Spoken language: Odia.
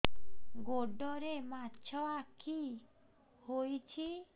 ଗୋଡ଼ରେ ମାଛଆଖି ହୋଇଛି